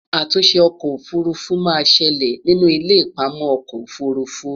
àtúnṣe ọkọ òfurufú má ṣẹlẹ nínú ilé ipamọ okò òfurufú